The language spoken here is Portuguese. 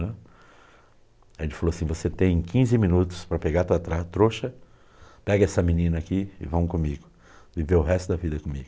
Aí ele falou assim, você tem quinze minutos para pegar a tua trouxa, pega essa menina aqui e vamos comigo, viver o resto da vida comigo.